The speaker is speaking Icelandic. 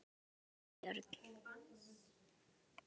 Herborg og Björn.